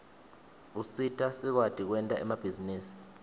usita sikwati kwenta emabhizinisi